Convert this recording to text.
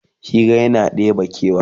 Hira yana ɗebe kewa